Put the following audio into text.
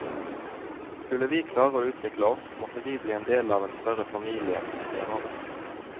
Skulle vi klare å utvikle oss, måtte vi bli en del av en større familie, sier han.